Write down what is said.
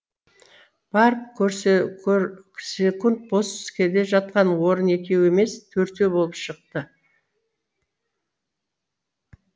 барып көрсек бос келе жатқан орын екеу емес төртеу болып шықты